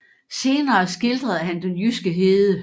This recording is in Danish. Senere skildrede han den jyske hede